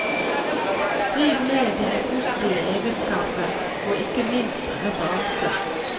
Skriv ned dine positive egenskaper og ikke minst referanser.